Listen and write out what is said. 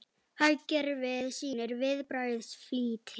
Hagkerfið sýnir viðbragðsflýti